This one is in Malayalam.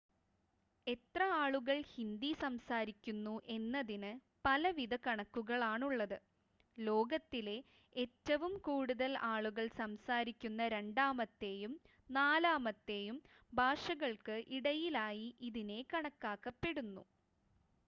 എത്ര ആളുകൾ ഹിന്ദി സംസാരിക്കുന്നു എന്നതിന് പലവിധ കണക്കുകളാണുള്ളത് ലോകത്തിലെ ഏറ്റവും കൂടുതൽ ആളുകൾ സംസാരിക്കുന്ന രണ്ടാമത്തെയും നാലാമത്തെയും ഭാഷകൾക്ക് ഇടയിലായി ഇതിനെ കണക്കാക്കപ്പെടുന്നു